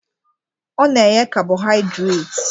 Ọ na-enye kabọhaịdreti